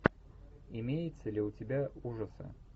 имеется ли у тебя ужасы